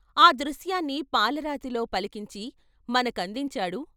ఆ దృశ్యాన్ని పాలరాతిలో పలికించి మనకందించాడు.